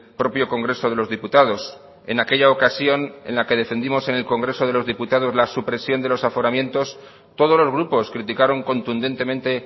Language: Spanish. propio congreso de los diputados en aquella ocasión en la que defendimos en el congreso de los diputados la supresión de los aforamientos todos los grupos criticaron contundentemente